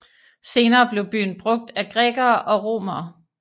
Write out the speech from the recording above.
Senere blev byen brugt af grækere og romere